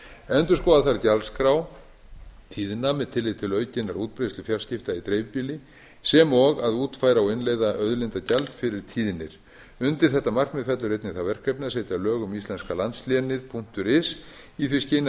endurskoða þarf gjaldskrá tíðna með tilliti til aukinnar útbreiðslu fjarskipta í dreifbýli sem og að útfæra og innleiða auðlindagjald fyrir tíðnir undir þetta markmið fellur einnig það verkefni að setja lög um íslenska landslénið punktur is í því skyni að